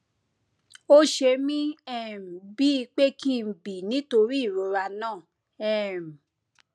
ó ṣe mí um bíi pé kí n bì nítorí ìrora náà um